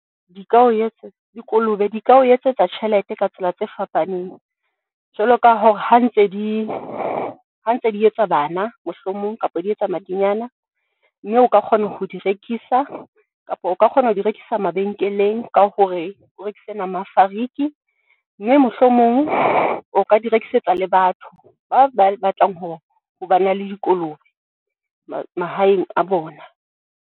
Di ka o dikolobe di ka o etsetsa tjhelete ka tsela tse fapaneng jwalo ka hore, ha ntse di ha ntse di, ha ntse di etsa bana mohlomong kapa di etsa madinyane mme o ka kgona ho di rekisa, kapa o ka kgona ho di rekisa mabenkeleng ka hore, o rekise nama ya fariki, mme mohlomong o ka di rekisetsa le batho ba ba batlang ho ho ba na le dikolobe mahaeng a bona.